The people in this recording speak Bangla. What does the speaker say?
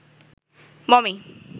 মমি